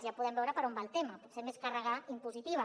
ja podem veure per on va el tema potser més càrrega impositiva